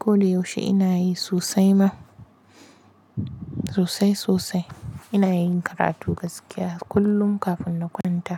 Ko da yaushe ina yi sosai ma. Sosai sosai. Ina yin karatu gaskiya kullum kafin na kwanta.